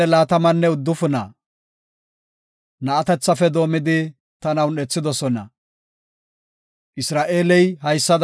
Isra7eeley haysada yaago; “Ta na7atethafe doomidi, ta morketi tana un7ethidosona.